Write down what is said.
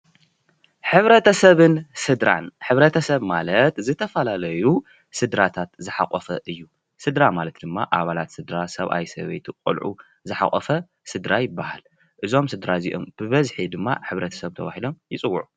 ሕ/ሰብን ስድራን:‑ ሕ/ሰብ ማለት ዝተፈላለዩ ስድራታት ዝሓቆፈ እዩ፡፡ ስድራ ማለት ድማ ኣባለት ስድራ ሰብኣይ፣ ሰበይቲ፣ ቆልዑ ዝሓቆፈ ስድራ ይብሃል፡፡ እዞም ስድራ እዚኦም ብበዝሒ ድማ ሕ/ሰብ ተባሂሎም ይፅውዑ፡፡